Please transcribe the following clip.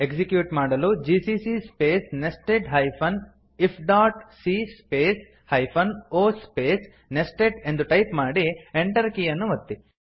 execute ಮಾಡಲು gccಸ್ಪೇಸ್ nested hyphen if dot c space hyphen O space nested ಎಂದು type ಮಾಡಿ Enter ಕೀ ಯನ್ನು ಒತ್ತಿ